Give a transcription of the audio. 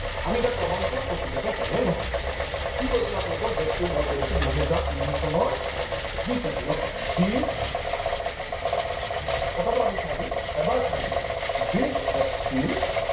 আমি এতিয়া প্ৰমান চাম প্ৰকৃততে হয় নে নহয় । কি কৈছিলো আপোনালোকক date টো মই কৈ দিছো দুহেজাৰ তিনি চনৰ বিছ এপ্ৰিল ok বিছ পতাপত আমি চাই দিম এবাৰ চাই দিম বিছ এপ্ৰিল